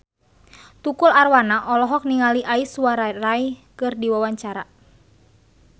Tukul Arwana olohok ningali Aishwarya Rai keur diwawancara